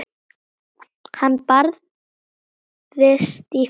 Hann barðist í fyrra stríði.